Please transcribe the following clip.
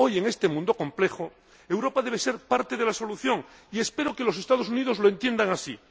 Hoy, en este mundo complejo, Europa debe ser parte de la solución, y espero que los Estados Unidos lo entiendan así.